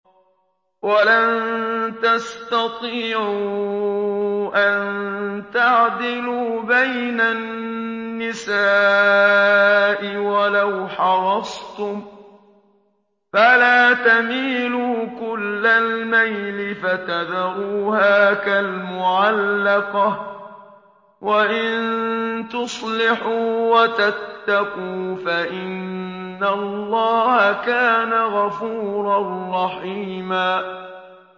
وَلَن تَسْتَطِيعُوا أَن تَعْدِلُوا بَيْنَ النِّسَاءِ وَلَوْ حَرَصْتُمْ ۖ فَلَا تَمِيلُوا كُلَّ الْمَيْلِ فَتَذَرُوهَا كَالْمُعَلَّقَةِ ۚ وَإِن تُصْلِحُوا وَتَتَّقُوا فَإِنَّ اللَّهَ كَانَ غَفُورًا رَّحِيمًا